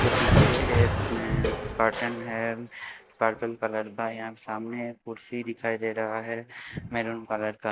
के पीछे एक में कर्टेन है पर्पल कलर का यहां सामने एक कुर्सी दिखाई दे रहा है मैरून कलर का --